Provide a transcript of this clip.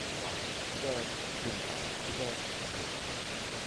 аштықты да кемтарлықты да көп көрді